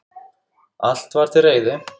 Allt var til reiðu.